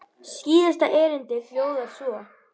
Síðasta erindið hljóðar svo